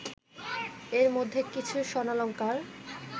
এর মধ্যে কিছু স্বর্ণালঙ্কার